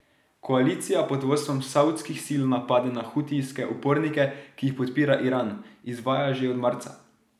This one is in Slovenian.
Koalicija pod vodstvom saudskih sil napade na hutijske upornike, ki jih podpira Iran, izvaja že od marca.